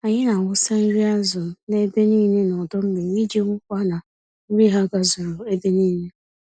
Anyị n'awụsa nri azụ n'ebe nílé n'ọdọ mmiri iji hụkwa na nri ha gazuru ebe nílé.